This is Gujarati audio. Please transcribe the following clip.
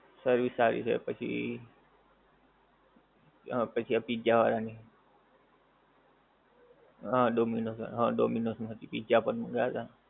service સારી છે પછી પછી આ pizza વાળાની હા Dominos હા Dominos ની pizza પણ મગાવ્યાં હતા.